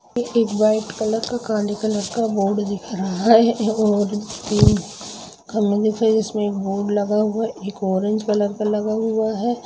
यह white colour का काले कलर का बोर्ड दिख रहा है और पीले कलर के कुछ लगा हुआ है एक ऑरेंज कलर का लगा हुआ है।